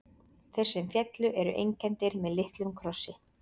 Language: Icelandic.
Þeir sem féllu eru einkenndir með litlum krossi.